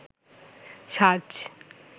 সাজ